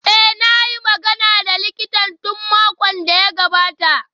Eh, na yi magana da likitan tun makon da ya gabata